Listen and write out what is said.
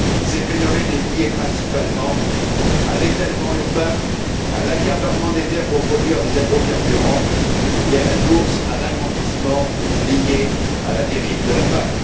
Ces phénomènes sont liés principalement à l'étalement urbain, à l'accaparement des terres pour produire des agrocarburants et à la course à l'agrandissement liée à la dérive de la PAC.